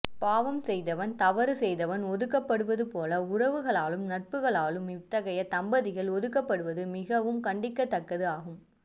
பாவம் செய்தவன் தவறு செய்தவன் ஒதுக்கப்படுவது போல உறவுகளாலும் நட்புகளாலும் இத்தகைய தம்பதிகள் ஒதுக்கப்படுவது மிகவும் கண்டிக்க தக்கது ஆகும்